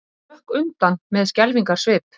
Hún hrökk undan með skelfingarsvip.